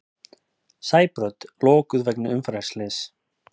Sæbraut lokuð vegna umferðarslyss